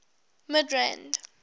midrand